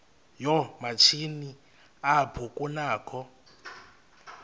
yoomatshini apho kunakho